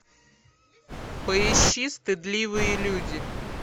поищи стыдливые люди